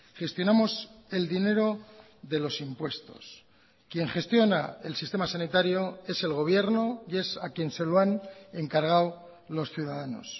gestionamos el dinero de los impuestos quien gestiona el sistema sanitario es el gobierno y es a quien se lo han encargado los ciudadanos